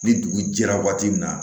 Ni dugu jɛra waati min na